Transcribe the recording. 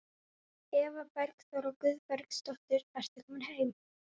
Eva Bergþóra Guðbergsdóttir: Ertu komin heim?